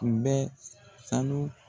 Kun bɛ sanu